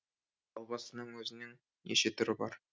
албастының өзінің неше түрі бар